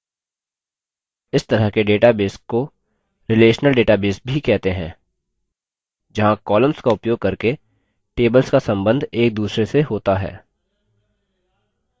इस तरह के database को relational database भी कहते हैं जहाँ columns का उपयोग करके tables का संबंध एकदूसरे से होता है